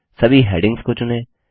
सभी हैडिंग्स को चुनें